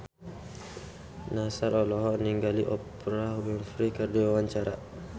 Nassar olohok ningali Oprah Winfrey keur diwawancara